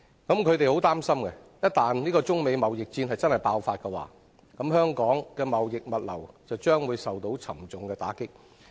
我們相當擔心，一旦中美貿易戰爆發，香港的貿易物流業將會大受打擊。